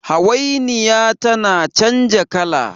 hawainiya tana canja kala